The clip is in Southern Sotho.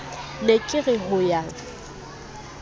ne ke re ho ya